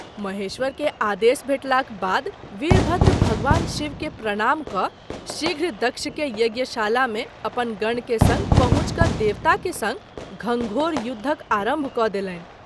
महेश्वर के आदेश भेटलाक बाद वीरभद्र भगवान शिव के प्रणाम क’ शीघ्र दक्षके यज्ञशाला मे अपन गण के संग पहुँच क’ देवता के संग घनघोर युद्ध आरंभ क’ देलनि।